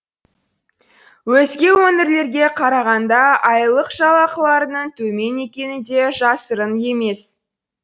өзге өңірлерге қарағанда айлық жалақыларының төмен екені де жасырын емес